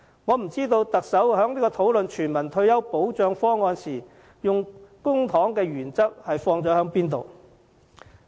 我不知道特首在討論全民退休保障方案時，按甚麼原則使用公帑。